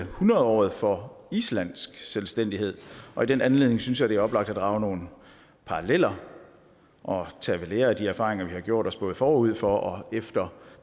hundredåret for islands selvstændighed og i den anledning synes jeg det er oplagt at drage nogle paralleller og tage ved lære af de erfaringer vi har gjort os både forud for og efter